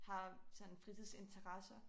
Har sådan fritidsinteresser